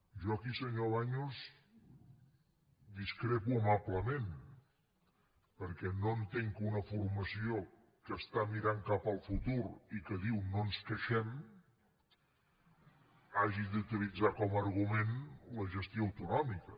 jo aquí senyor baños discrepo amablement perquè no entenc que una formació que està mirant cap al futur i que diu no ens queixem hagi d’utilitzar com a argument la gestió autonòmica